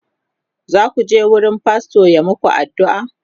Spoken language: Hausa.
zaku je wurin fastor ya maku addu'a?